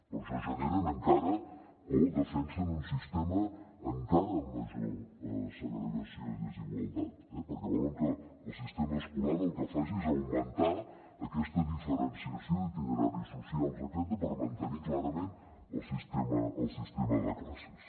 per això generen encara o defensen un sistema encara amb major segregació i desigualtat eh perquè volen que el sistema escolar el que faci és augmentar aquesta diferenciació i itineraris socials etcètera per mantenir clarament el sistema de classes